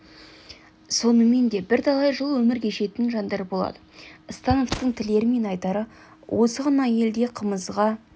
сонымен де бірталай жыл өмір кешетін жандар болады становтың тілері мен айтары осы ғана елде қымызға